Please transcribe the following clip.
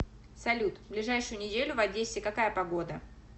салют ближайшую неделю в одессе какая погода